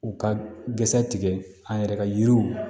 U ka gɛrɛ tigɛ an yɛrɛ ka yiriw